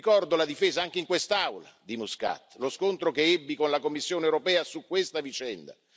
Ricordo la difesa anche in quest'Aula di Muscat. Lo scontro che ebbi con la Commissione europea su questa vicenda.